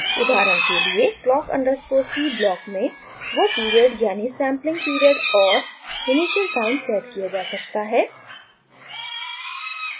उदाहरण के लिए clock underscore c block में वो period यानि sampling period और initial time सेट किया जा सकता है